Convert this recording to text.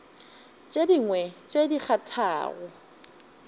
tše dingwe tše di kgathago